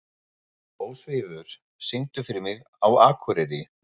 Ósvífur, syngdu fyrir mig „Á Akureyri“.